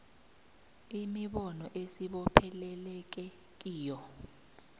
imibono esibopheleleke kiyo